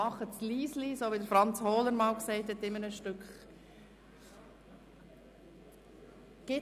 Sie können schon anstehen, aber bitte leise, so wie dies Franz Hohler in einem Stück erwähnt hat.